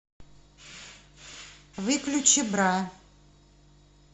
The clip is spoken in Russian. выключи бра